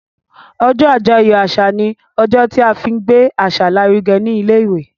ojó ajoyọ àṣà ní ojó tí a fín gbé àṣà l'aruge ní ilé ìwé.